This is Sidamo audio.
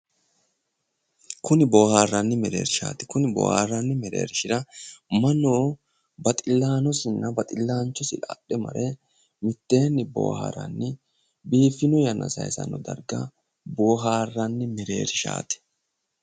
Konni booharranni mereershaati kuni booharranni mereershira mannu baxxillanosinna baxxillanchosi adhe mare mitteenni booharranni biiffino yanna saaysanno darga booharranni mereershaati.